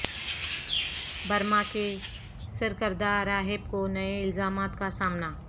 Burma کے سرکردہ راہب کو نئے الزامات کا سامنا